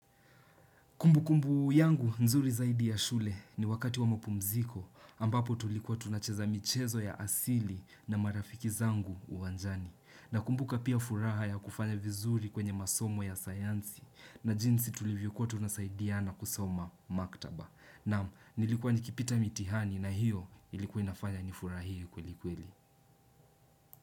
Kumbu kumbu yangu nzuri zaidi ya shule ni wakati wa mpumziko ambapo tulikuwa tunacheza michezo ya asili na marafiki zangu uwanjani. Na kumbuka pia furaha ya kufanya vizuri kwenye masomo ya sayansi na jinsi tulivyo kuwa tunasaidiana kusoma maktaba. Nam, nilikuwa nikipita mitihani na hiyo ilikuinafanya nifurahie kweli kweli.